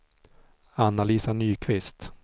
Anna-Lisa Nyqvist